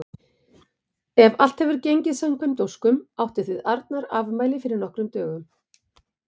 Ef allt hefur gengið samkvæmt óskum áttuð þið Arnar afmæli fyrir nokkrum dögum.